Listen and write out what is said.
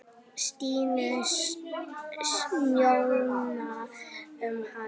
Stínu, njósna um hana.